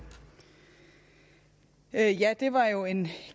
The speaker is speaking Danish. af